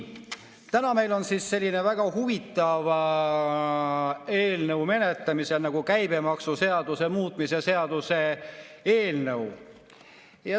Täna on meil menetlemisel selline väga huvitav eelnõu nagu käibemaksuseaduse muutmise seaduse eelnõu.